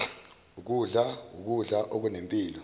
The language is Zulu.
ukudla ukudla okunempilo